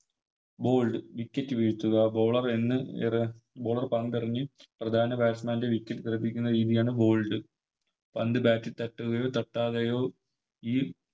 Bowled wicket വീഴ്ത്തുക Bowler run Bolwer പന്തെറിഞ്ഞ് പ്രധാന Batsman ൻറെ Wicket തെറിപ്പിക്കുന്ന രീതിയാണ് Bowled പന്ത് Bat ൽ തട്ടുകയോ തട്ടാതെയോ ഈ